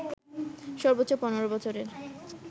সর্বোচ্চ ১৫ বছরের